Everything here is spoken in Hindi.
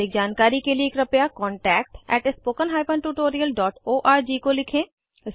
अधिक जानकारी के लिए कृपया contactspoken tutorialorg को लिखें